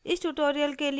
इस ट्यूटोरियल के लिए